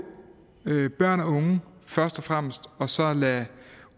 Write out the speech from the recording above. børn og unge først og fremmest og så lade